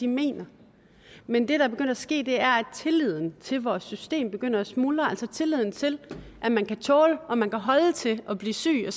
mener men det der er begyndt at ske er at tilliden til vores system begynder at smuldre altså tilliden til at man kan tåle og man kan holde til at blive syg og